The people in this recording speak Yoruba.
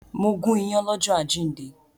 Mo gún ìyàn lọ́jọ́ àjíǹde